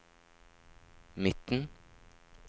midten